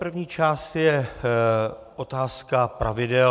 První část je otázka pravidel.